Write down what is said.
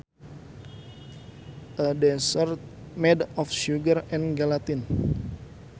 A dessert made of sugar and gelatin